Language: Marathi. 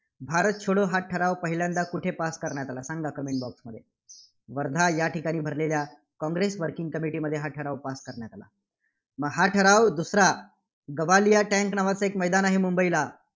भारत छोडो हा ठराव पहिल्यांदा कुठे pass करण्यात आला? सांगजा comment box मध्ये. वर्धा या ठिकाणी भरलेल्या काँग्रेस working committee मध्ये हा ठराव pass करण्यात आला. मग हा ठराव दुसरा गवालिया टँक नावंच एक मैदान आहे मुंबईला,